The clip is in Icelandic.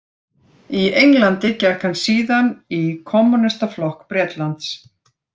Í Englandi gekk hann síðan í Kommúnistaflokk Bretlands.